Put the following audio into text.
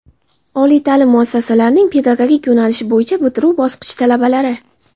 oliy taʼlim muassasalarining pedagogik yo‘nalish bo‘yicha bitiruvchi bosqich talabalari;.